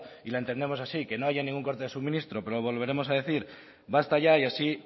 y la entendemos así que no haya ningún corte de suministro pero lo volveremos a decir basta ya y así